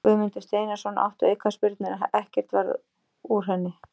Guðmundur Steinarsson átti aukaspyrnuna en ekkert varð úr henni.